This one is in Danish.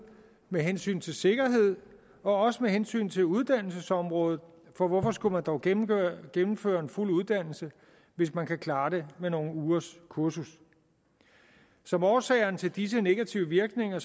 med hensyn til sikkerheden og også med hensyn til uddannelsesområdet for hvorfor skulle man dog gennemføre gennemføre en fuld uddannelse hvis man kan klare det med nogle ugers kursus som årsagerne til disse negative virkninger